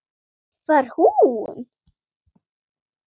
Var hún?!